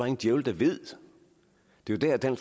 en djævel der ved det det er der